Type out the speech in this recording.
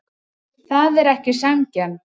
Það er ekki sanngjarnt.